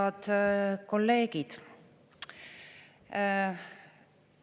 Head kolleegid!